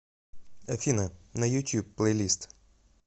афина на ютьюб плейлист